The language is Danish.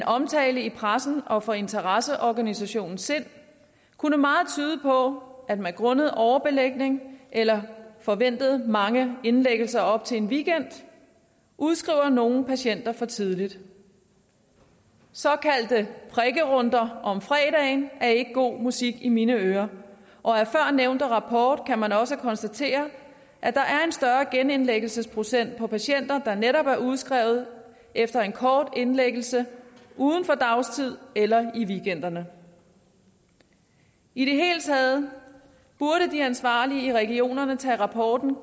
omtale i pressen og fra interesseorganisationen sind kunne meget tyde på at man grundet overbelægning eller forventede mange indlæggelser op til en weekend udskriver nogle patienter for tidligt såkaldte prikkerunder om fredagen er ikke god musik i mine ører og af førnævnte rapport kan man også konstatere at der er en større genindlæggelsesprocent for patienter der netop er udskrevet efter en kort indlæggelse uden for dagtid eller i weekenden i det hele taget burde de ansvarlige i regionerne tage rapporten